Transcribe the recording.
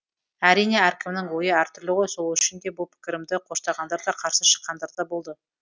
әрине әркімнің ойы әртүрлі ғой сол үшін де бұл пікірімді қоштағандар да қарсы шыққандар да болды